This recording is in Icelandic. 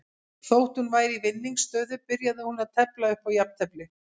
Þótt hún væri í vinningsstöðu byrjaði hún að tefla upp á jafntefli.